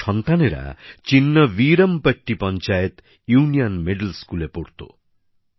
তাঁর সন্তানেরা Chinnaveerampatti panchayat union middle স্কুলে পড়তো